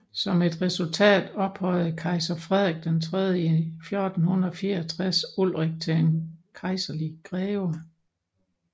Som et resultat ophøjede kejser Frederik III i 1464 Ulrich til en kejserlig greve